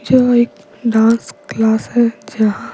जो एक dance class है जहां--